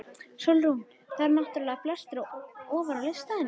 SÓLRÚN: Það eru náttúrlega flestir ofar á lista en ég.